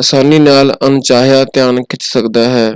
ਅਸਾਨੀ ਨਾਲ ਅਣਚਾਹਿਆ ਧਿਆਨ ਖਿੱਚ ਸਕਦਾ ਹੈ।